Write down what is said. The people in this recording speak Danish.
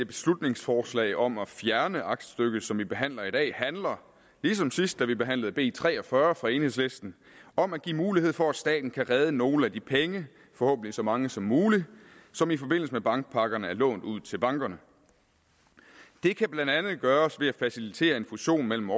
beslutningsforslaget om at fjerne aktstykket som vi behandler i dag handler ligesom sidst da vi behandlede b tre og fyrre fra enhedslisten om at give mulighed for at staten kan redde nogle af de penge forhåbentlig så mange som muligt som i forbindelse med bankpakkerne er blevet lånt ud til bankerne det kan blandt andet gøres ved at facilitere en fusion mellem